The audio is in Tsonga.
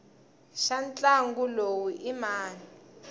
xa ntlangu lowu i mani